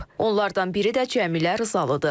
Onlardan biri də Cəmilə Rızalıdır.